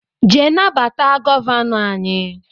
jee nabata Gọvanọ anyị